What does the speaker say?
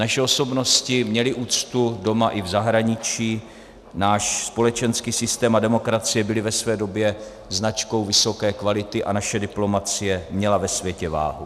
Naše osobnosti měly úctu doma i v zahraničí, náš společenský systém a demokracie byly ve své době značkou vysoké kvality a naše diplomacie měla ve světě váhu.